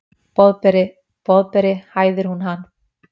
Boðberi, Boðberi, hæðir hún hann.